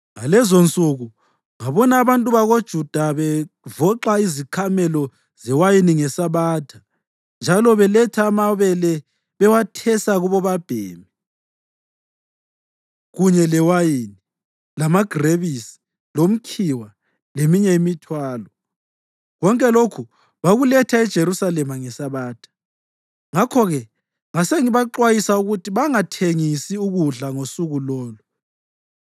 Ngalezonsuku ngabona abantu bakoJuda bevoxa izikhamelo zewayini ngeSabatha njalo beletha amabele bewethesa kubobabhemi, kunye lewayini, lamagrebisi, lomkhiwa leminye imithwalo. Konke lokhu babekuletha eJerusalema ngeSabatha. Ngakho-ke ngasengibaxwayisa ukuthi bangathengisi ukudla ngosuku lolo.